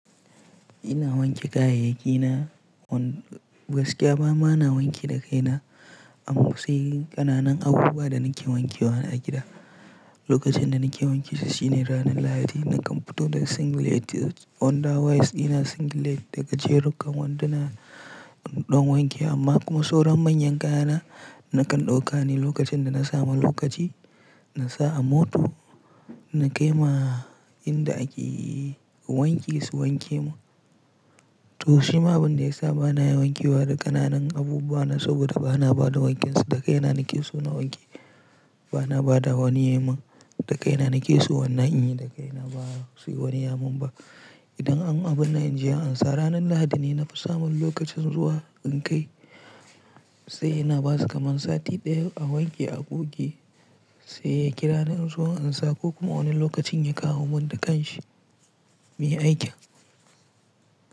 Ina wanke kayayyaki na, gaskiya bana wanki da kai na. An fi sai ƙananan abubuwa da nake wanke wa a gida. Lokacin da nake wanke su shine ranar Lahadi, nakan fito da single edge underwear undewears dina, single edge daga jerin wanduna don wanke, amma kuma sauran manyan kaya na, nakan ɗauka ne lokacin da na samu lokaci, na sa a mota, na kai ma inda ake wanki su wanke mun. To shi ma abin da ya sa bana wanke wa da ƙananan abubuwa na saboda bana ba da wankinsu, da kai na nake so na wanke, bana ba da wani yaman. Da kai na nake so na yi, da kai na ba su yi wani yamun ba. Idan an yi abin da inji an sa ranar Lahadi ne na fi samun lokacin zuwa in kai, sai ina basu kaman sati ɗaya a wanke a goge sai ya kira ni in zo an sa ko kuma wani lokacin ya kawo mun da kanshi me aikin.